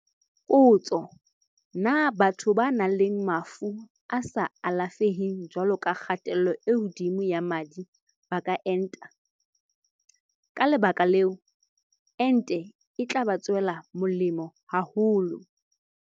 Potso- Na batho ba nang le mafu a sa alafeheng jwalo ka kgatello e hodimo ya madi ba ka enta? Ka le baka leo, ente e tla ba tswela molemo haholo.